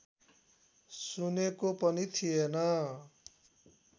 सुनेको पनि थिएन